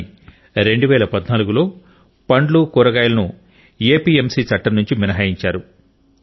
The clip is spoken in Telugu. కానీ 2014 లో పండ్లు కూరగాయలను ఎపిఎంసి చట్టం నుండి మినహాయించారు